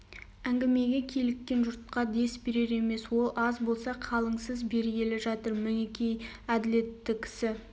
әңгімеге киліккен жұртқа дес берер емес ол аз болса қалыңсыз бергелі жатыр мінекей әділетті кісі